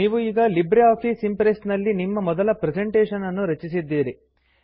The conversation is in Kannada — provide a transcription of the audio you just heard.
ನೀವು ಈಗ ಲಿಬ್ರೆ ಆಫೀಸ್ ಇಂಪ್ರೆಸ್ಸ್ ನಲ್ಲಿ ನಿಮ್ಮ ಮೊದಲ ಪ್ರೆಸೆಂಟೇಷನ್ ನ್ನು ರಚಿಸಿದ್ದೀರಿ